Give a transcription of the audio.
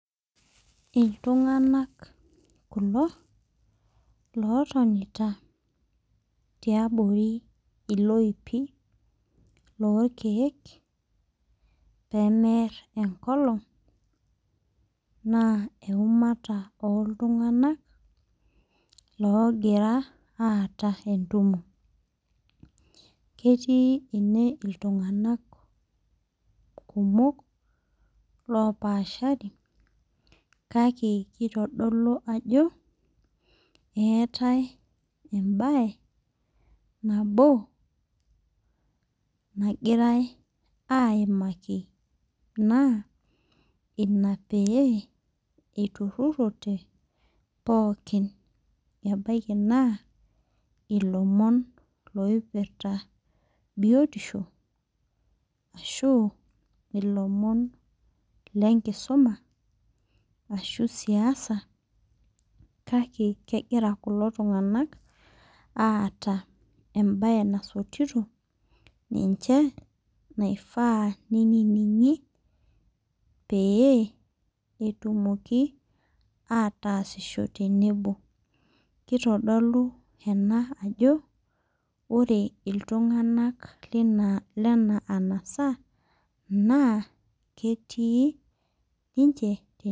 Iltung'anak kulo lotonita tiabori iloipi lorkeek pemerr enkolong naa eumata oltung'anak loogira aata entumo ketii ene iltung'anak kumok lopaashari kake kitodolu ajo keetae embaye nabo nagirae aimaki naa ina pee eiturrurote pookin ebaiki naa ilomon loipirta biotisho ashu ilomon lenkisuma ashu siasa kake kegira kulo tung'anak aata embaye nasotito ninche naifaa neinining'i pee etumoki ataasisho tenebo kitodolu ena ajo ore iltung'anak lina lena anasa naa ketii ninche.